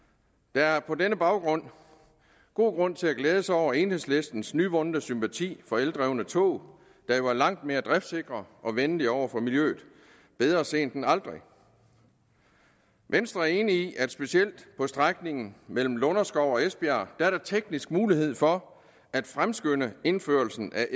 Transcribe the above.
der er på den baggrund god grund til at glæde sig over enhedslistens nyvundne sympati for eldrevne tog der jo er langt mere driftsikre og venlige over for miljøet bedre sent end aldrig venstre er enig i at specielt på strækningen mellem lunderskov og esbjerg er der teknisk mulighed for at fremskynde indførelsen af